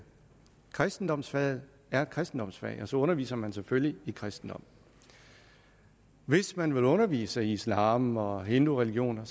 kristendomsfaget er et kristendomsfag og så underviser man selvfølgelig i kristendom hvis man vil undervise i islam og hindureligioner